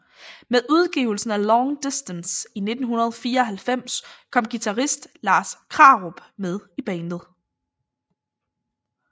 Med udgivelsen af Long Distance i 1994 kom guitarist Lars Krarup med i bandet